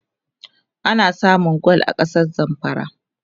ana samun gwal a kasar zamfara